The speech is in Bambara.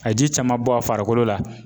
A ji caman bɔ a farikolo la.